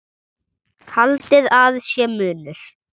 Haldið að sé munur!